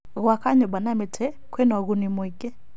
Gwaka nyũmba na mĩtĩ kwĩna ũguni mũingĩ.